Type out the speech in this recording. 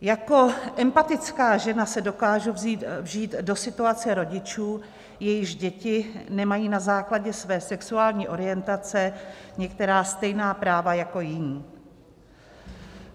Jako empatická žena se dokážu vžít do situace rodičů, jejichž děti nemají na základě své sexuální orientace některá stejná práva jako jiní.